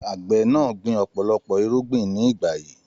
Àgbẹ̀ náà gbìn ọ̀pọ̀lọpọ̀ irúgbìn ní ìgbà yìí.